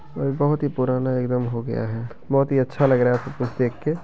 और यह बहुत ही पुराना एकदम हो गया है बहुत ही अच्छा लग रहा है सब कुछ देख के।